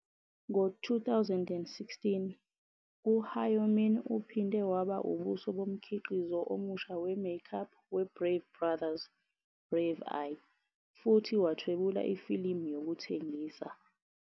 Ngo-2016, u-Hyomin uphinde waba ubuso bomkhiqizo omusha we-makeup weBrave Brothers, "Brave i" futhi wathwebula ifilimu yokuthengisa.